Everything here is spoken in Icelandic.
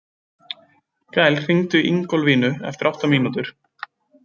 Gael, hringdu í Ingólfínu eftir átta mínútur.